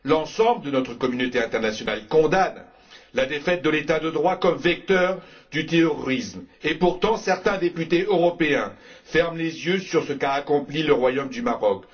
L'ensemble de notre communauté internationale condamne la défaite de l'État de droit comme vecteur du terrorisme et, pourtant, certains députés européens ferment les yeux sur ce qu'a accompli le Royaume du Maroc.